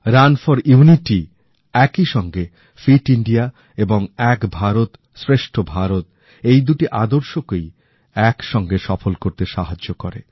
run for unity একইসঙ্গে fit India এবং এক ভারত শ্রেষ্ঠ ভারত এই দুটি আদর্শকেই একসঙ্গে সফল করতে সাহায্য করে